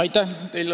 Aitäh!